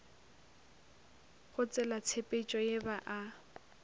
go tselatshepetšo ye ba a